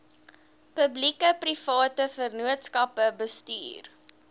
publiekeprivate vennootskappe bestuur